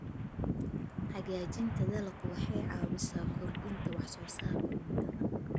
Hagaajinta dalaggu waxay caawisaa kordhinta wax soo saarka cuntada.